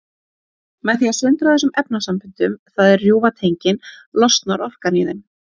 Með því að sundra þessum efnasamböndum, það er rjúfa tengin, losnar orkan í þeim.